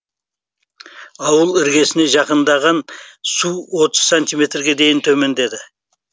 ауыл іргесіне жақындаған су отыз сантиметрге дейін төмендеді